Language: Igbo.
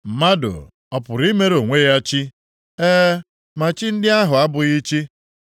Mmadụ ọ pụrụ imere onwe ya chi? E, ma chi ndị ahụ abụghị chi.